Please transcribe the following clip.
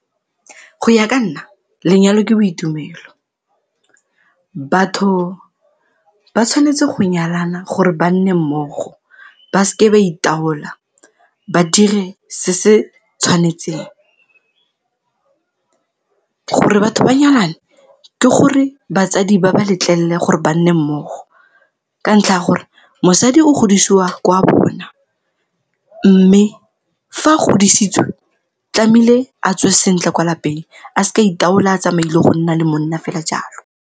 Go ya ka nna, lenyalo ke boitumelo. Batho ba tshwanetse go nyalana gore ba nne mmogo ba seke ba itaola, ba dire se se tshwanetseng. Go re batho ba nyalane ke gore batsadi ba ba letlelele gore ba nne mmogo ka ntlha ya gore mosadi o godisiwa kwa bona mme fa a godisitswe tlamehile atswe sentle kwa lapeng a se ka itaola a tsamaya go nna le monna fela jalo.